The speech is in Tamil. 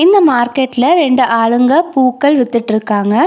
இந்த மார்கெட்ல ரெண்டு ஆளுங்க பூக்கள் வித்துட்ருக்காங்க.